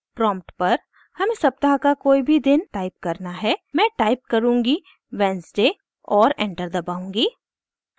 prompt पर हमें सप्ताह का कोई भी दिन टाइप करना है मैं टाइप करुँगी wednesday और एंटर दबाउंगी